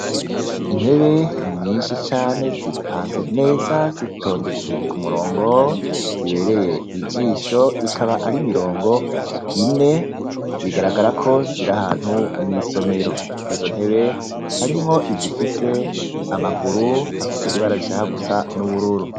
Intebe nyinshi cane zipanze neza zitondetse ku murongo, zibereye ijisho, ikaba ari imirongo ine, bigaragara ko ziri ahantu mw'isomero. Muri izo ntebe, harimwo izifise amaguru afise ibara rishahaka gusa n’ubururu.